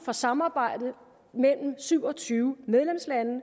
for samarbejdet mellem syv og tyve medlemslande